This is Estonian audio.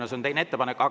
See on teine.